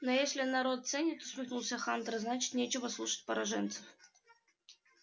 ну если народ ценит усмехнулся хантер значит нечего слушать пораженцев